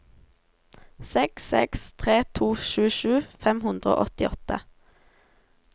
seks seks tre to tjuesju fem hundre og åttiåtte